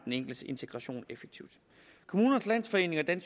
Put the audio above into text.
enkeltes integration effektivt kommunernes landsforening